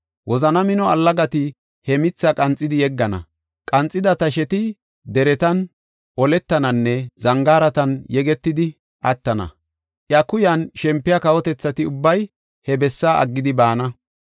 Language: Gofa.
Wozana mino allagati he mitha qanxidi yeggana; qanxida tasheti deretan, ollataninne zangaaratan yegetidi attana. Iya kuyan shempiya kawotethati ubbay he bessaa aggidi baana.